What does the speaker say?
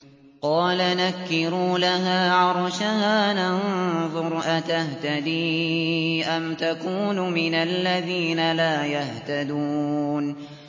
قَالَ نَكِّرُوا لَهَا عَرْشَهَا نَنظُرْ أَتَهْتَدِي أَمْ تَكُونُ مِنَ الَّذِينَ لَا يَهْتَدُونَ